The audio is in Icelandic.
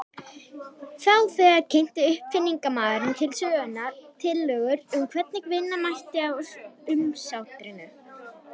Þá þegar kynnti uppfinningamaðurinn til sögunnar tillögur um hvernig vinna mætti á umsátrinu.